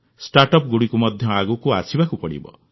ଷ୍ଟାର୍ଟଅପ୍ଗୁଡ଼ିକୁ ମଧ୍ୟ ଆଗକୁ ଆସିବାକୁ ପଡ଼ିବ